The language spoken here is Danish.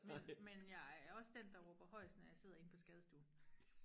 men men jeg er også den der råber højest når jeg sidder inde på skadestuen